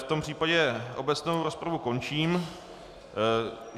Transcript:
V tom případě obecnou rozpravu končím.